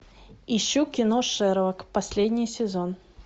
ищу кино шерлок последний сезон